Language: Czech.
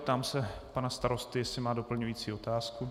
Ptám se pana starosty, jestli má doplňující otázku.